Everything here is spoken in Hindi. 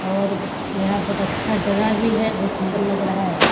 और यहाँ बहुत अच्छा जगह भी है। बहुत सुंदर लग रहा है।